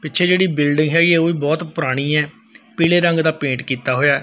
ਪਿੱਛੇ ਜਿਹੜੀ ਬਿਲਡਿੰਗ ਹੈਗੀ ਹ ਉਹ ਵੀ ਬਹੁਤ ਪੁਰਾਣੀ ਹ ਪੀਲੇ ਰੰਗ ਦਾ ਪੇਂਟ ਕੀਤਾ ਹੋਇਆ।